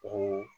O